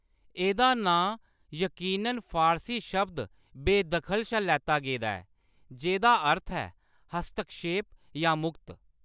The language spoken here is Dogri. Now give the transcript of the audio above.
एह्‌‌‌दा नांऽ यकीनन फारसी शब्द बेयदखल शा लैता गेदा ऐ, जेह्‌दा अर्थ ऐ हस्तक्षेप शा मुक्त।